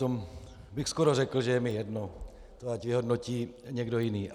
To bych skoro řekl, že je mi jedno, to ať vyhodnotí někdo jiný.